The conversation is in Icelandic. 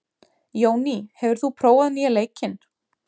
Jóný, hefur þú prófað nýja leikinn?